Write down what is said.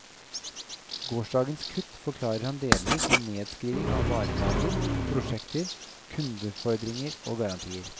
Gårsdagens kutt forklarer han delvis med nedskrivning av varelager, prosjekter, kundefordringer og garantier.